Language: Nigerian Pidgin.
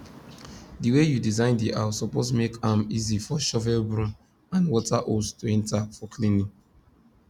the way you design the house suppose make am easy for shovel broom and water hose to enter for cleaning